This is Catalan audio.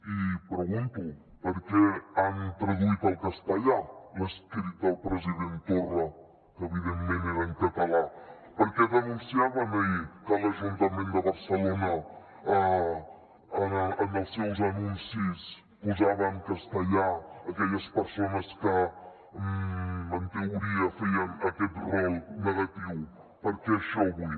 i pregunto per què han traduït al castellà l’escrit del president torra que evidentment era en català per què denunciaven ahir que l’ajuntament de barcelona en els seus anuncis posava en castellà aquelles persones que en teoria feien aquest rol negatiu per què això avui